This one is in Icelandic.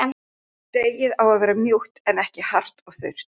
Deigið á að verða mjúkt en ekki hart og þurrt.